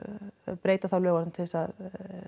breyta þá lögunum til þess að